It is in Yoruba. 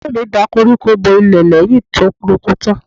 Ẹ̀gbọ́n mi da koríko bo ilẹ̀ lẹ́yìn tó roko tán.